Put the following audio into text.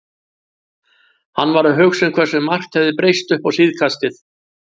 Hann var að hugsa um hversu margt hafði breyst uppá síðkastið.